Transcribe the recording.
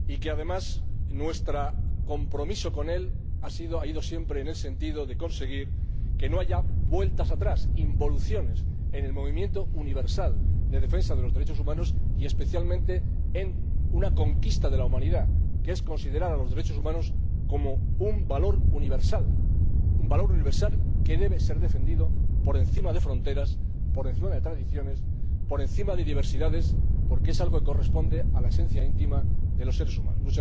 además, nuestro compromiso con él ha ido siempre en el sentido de conseguir que no haya vueltas atrás, involuciones en el movimiento universal de defensa de los derechos humanos y, especialmente, que no haya vueltas atrás en una conquista de la humanidad, que es considerar a los derechos humanos como un valor universal, un valor universal que debe ser defendido por encima de fronteras, por encima de tradiciones y por encima de diversidades, porque es algo que corresponde a la esencia íntima de los seres humanos.